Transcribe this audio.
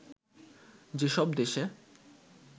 যেসব দেশে